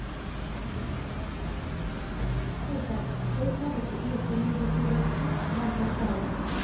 To fa, wai ku ba ku iya komai ba sai barci, ba farkawa?